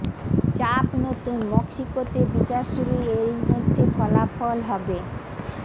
চাপ নতুন মক্সিকোতে বিচার শুরু এই মধ্যে ফলাফল হবে